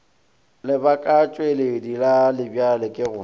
lebakatšweledi la lebjale ge go